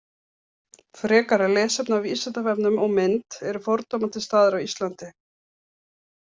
Frekara lesefni á Vísindavefnum og mynd Eru fordómar til staðar á Íslandi?